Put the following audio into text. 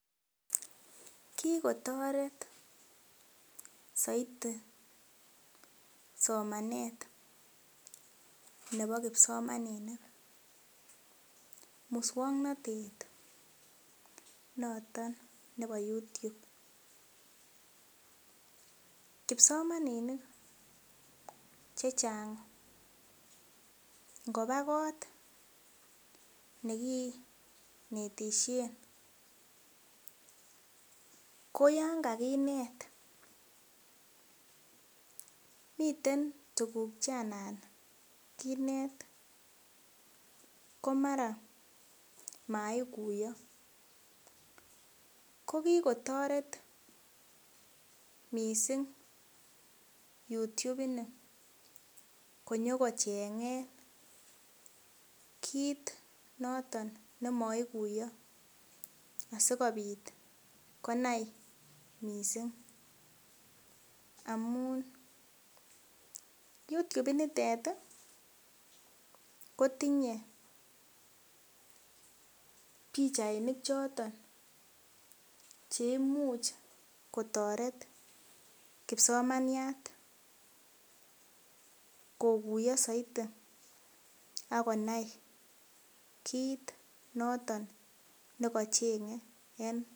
Kikotoret soiti somanet nebo kipsigis muswongnotet noton nebo YouTube kipsomaninik chechang ngoba kot nekinetisien ko yon kakinet miten tuguk che anan kinet ko mara moikuyo kokikotoret missing YouTube ini konyokochengen kit noton nemoikuiyo asikobit konai missing amun YouTube initet ih kotinye pichainik choton cheimuch kotoret kipsomaniat kokuiyo soiti ak konai kit noton nekochenge en